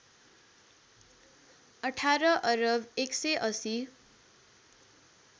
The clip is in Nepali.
१८ अरब १८०